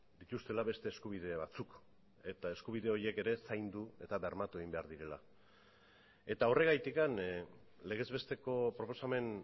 dituztela beste eskubide batzuk eta eskubide horiek ere zaindu eta bermatu egin behar direla eta horregatik legez besteko proposamen